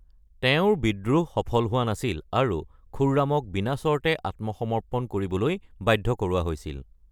তেওঁৰ বিদ্ৰোহ সফল হোৱা নাছিল আৰু খুৰ্ৰামক বিনাচৰ্তে আত্মসমৰ্পণ কৰিবলৈ বাধ্য কৰোৱা হৈছিল৷